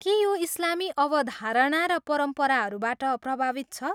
के यो इस्लामी अवधारणा र परम्पराहरूबाट प्रभावित छ?